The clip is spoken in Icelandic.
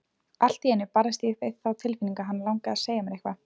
Allt í einu barðist ég við þá tilfinningu að hana langaði að segja mér eitthvað.